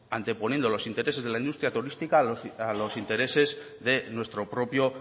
anteponiendo los intereses de la industria turística a los intereses de nuestro propio